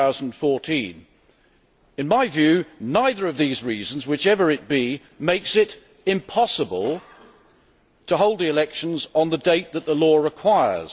2014. In my view neither of these reasons makes it impossible to hold elections on the date that the law requires.